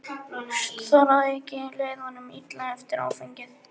Þar að auki leið honum illa eftir áfengið.